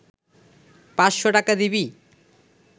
৫০০ টাকা দিবি